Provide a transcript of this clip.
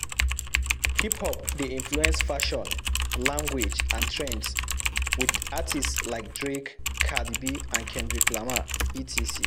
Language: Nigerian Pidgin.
Hip-hop de influence fashion, language and trends with artists like Drake, Cardi B, kendrick Lamar etc.